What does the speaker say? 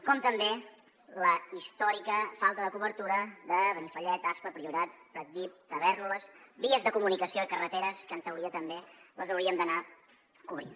com també la històrica falta de cobertura de benifallet aspa el priorat pratdip tavèrnoles vies de comunicació i carreteres que en teoria també les hauríem d’anar cobrint